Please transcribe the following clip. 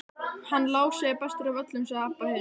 Hann Lási er bestur af öllum, sagði Abba hin.